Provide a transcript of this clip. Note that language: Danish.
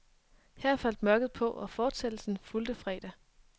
Her faldt mørket på, og fortsættelsen fulgte fredag.